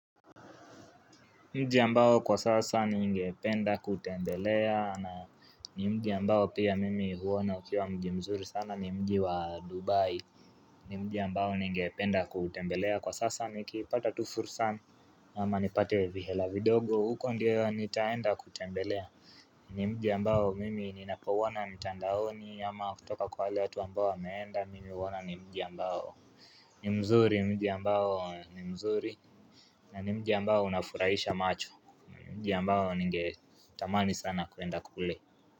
Mji ambao kwa sasa ni ngependa kutembelea na ni mji ambao pia mimi huona ukiwa mji mzuri sana ni mji wa dubai ni mji ambao ningependa kutembelea kwa sasa nikipata tu fursan ama nipate vihela vidogo huko ndio nitaenda kutembelea ni mji ambao mimi ninapouona ntandaoni ama kutoka kwa wale watu ambao wameenda mimi huona ni mji ambao ni mzuri mji ambao ni mzuri na ni mji ambao unafurahisha macho mji ambao ninge tamani sana kuenda kule.